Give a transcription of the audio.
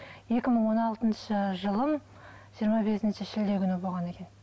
екі мың он алтыншы жылы жиырма бесінші шілде күні болған екен